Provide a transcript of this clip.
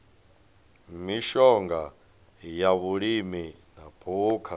mishonga ya vhulimi na phukha